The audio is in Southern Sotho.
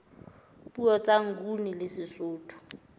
puo tsa nguni le sesotho